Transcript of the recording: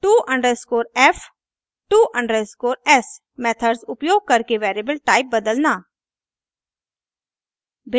to_f to_s methods उपयोग करके variable type बदलना